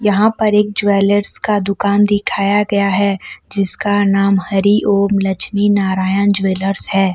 यहां पर एक ज्वेलर्स का दुकान दिखाया गया है जिसका नाम हरि ओम लक्ष्मी नारायण ज्वेलर्स है।